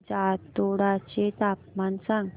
जातोडा चे तापमान सांग